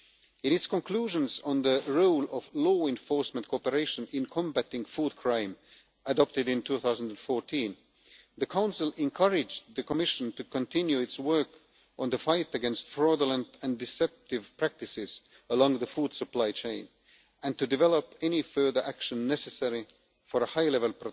In its conclusions on the role of law enforcement cooperation in combating food crime adopted in 2014, the Council encouraged the Commission to continue its work on the fight against fraudulent and deceptive practices along the food supply chain and to develop any further action necessary for high level